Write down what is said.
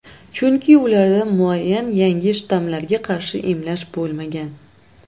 Chunki ularda muayyan yangi shtammlarga qarshi emlash bo‘lmagan.